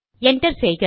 enter செய்க